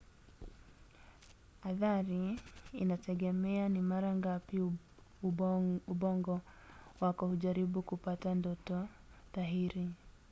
athari inategemea ni mara ngapi ubongo wako hujaribu kupata ndoto dhahiri